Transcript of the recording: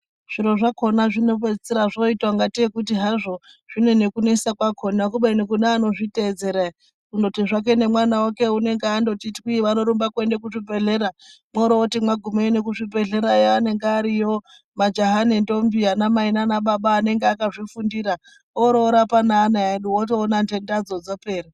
Zviro zvakona zvinopedzisira zvoitakungateyi kuti hazvo zvinenekunesa kwakona kubeni kune anozviteedzera. Kungoti zvake nemwana wake unenge angoti twii, vanorumba kuenda kuzvibhedhlera, mworooti magumeyo kuzvibhedhlera eyaa anenge ariyo maJaha nendombi, anamai nanababa anenge akazvifundira, ororapa neana edu wotoona ndendadzo dzapera.